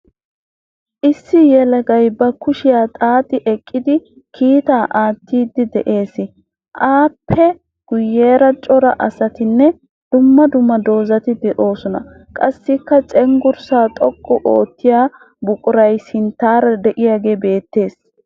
Issi yelagay ba kushiya xaaxi eqqidi kiitaa aattiiddi de'ees. Aappe guyyeera cora asatinne dumma dumma dozzati de'oosona. Qassikka cenggurssaa xoqqu oottiya buquray sinttaara diyagee beettes.